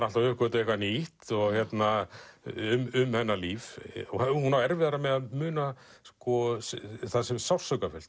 alltaf að uppgötva eitthvað nýtt um hennar líf hún á erfiðara með að muna það sem er sársaukafullt